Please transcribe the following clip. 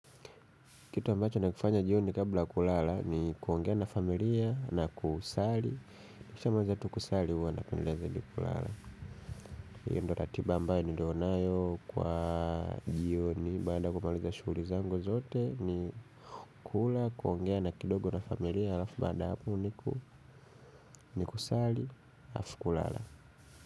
Kitu ambacho nakifanya jioni kabla ya kulala ni kuongea na familia na kusali. Nikishamaliza tu kusali huwa napendelea zaidi kulala. Hiyo ndio ratiba ambayo nilio nayo kwa jioni. Baada ya kumaliza shughuli zangu zote ni kula, kuongea na kidogo na familia. Halafu baada ya hapo niku ni kusali na alafu kulala.